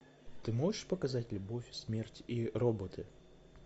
ты можешь показать любовь смерть и роботы